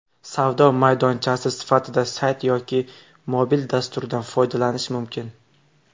Savdo maydonchasi sifatida sayt yoki mobil dasturdan foydalanish mumkin.